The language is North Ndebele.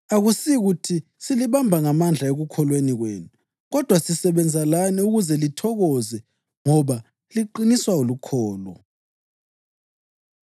Akusikuthi silibamba ngamandla ekukholweni kwenu kodwa sisebenza lani ukuze lithokoze, ngoba liqiniswa lukholo.